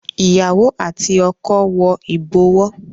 Ìyàwó àti ọkọ wo ibowo